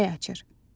Çiçək açır.